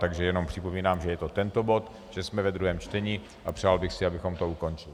Takže jenom připomínám, že je to tento bod, že jsme ve druhém čtení, a přál bych si, abychom to ukončili.